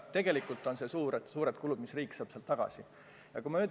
Tegelikult on need suured kulud, mis riik niimoodi tagasi saab.